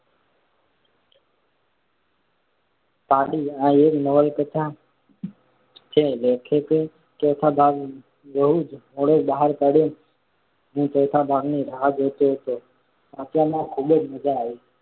પાડી આ એક નવલકથા છે. લેખકે ચોથો ભાગ બહુ જ મોડો બહાર પાડયો. હું ચોથા ભાગની રાહ જોતો હતો. વાંચવામાં ખૂબ મજા આવી.